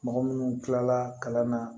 Mɔgɔ minnu kilala kalan na